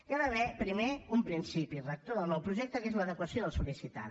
hi ha d’haver primer un principi rector del nou projecte que és l’adequació del sollicitant